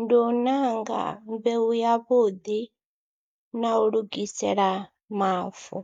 ndi u ṋanga mbeu yavhuḓi na u lugisela mavu.